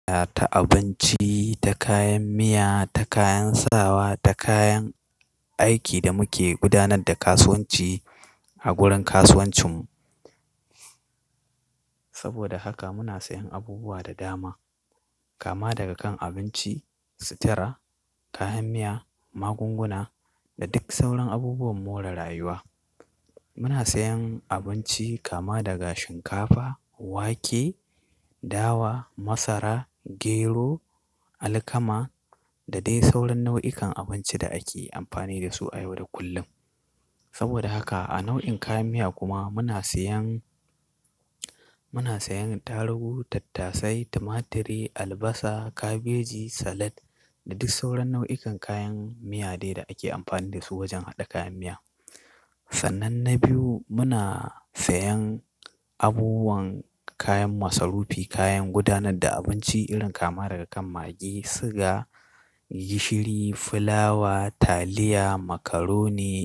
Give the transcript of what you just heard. Ta abinci, ta kayan miya, ta kayan sawa, ta kayan aikin da muke gudanar da kasuwanci a gurin kasuwancinmu. Saboda haka muna sayen abubuwa da dama kama daga kan abinci, sutara, kayan miya, magunguna da duk sauran abubuwan more rayuwa. Muna sayan abinci kama daga shinkafa, wake, dawa, masara, gero, alkama da dai sauran nau'ikan abinci da ake amfani da su a yau da kullum. Saboda haka a nau'in kayan miya kuma muna sayan, muna sayan tarugu, tattasai, tumaturi, albasa, kabeji, salad da duk sauran nau'ikan kayan miya dai da ake amfani da su wajen haɗa kayan miya. Sannan na biyu muna sayan abubuwan kayan masu rufi, kayan gudanar da abinci irin kama daga kan magi, siga, gishiri, fulawa, taliya, makaroni.